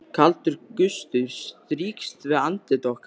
Kaldur gustur strýkst við andlit okkar.